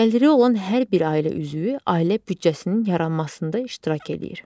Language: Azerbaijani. Gəliri olan hər bir ailə üzvü ailə büdcəsinin yaranmasında iştirak eləyir.